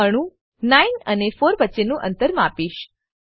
હું અણુ 9 અને 4 વચ્ચેનું અંતર માપીશ